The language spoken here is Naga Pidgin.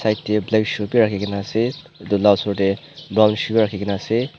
tey black shoe bi rakhikena ase itu la osor tey brown shoe bi rakhikena ase.